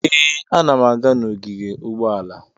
Ee, ana m aga n'ogige ụgbọala.